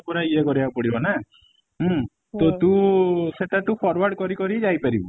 ପୁରା ଇଏ କରିବାକୁ ପଡିବ ନା ଉଁ ତୁ ସେଟା ତୁ forward କରି କରି ଯାଇ ପାରିବୁ